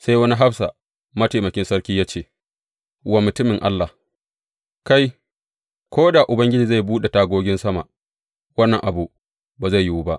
Sai wani hafsa mataimakin sarki ya ce wa mutumin Allah, Kai, ko da Ubangiji zai buɗe tagogin sama, wannan abu ba zai yiwu ba!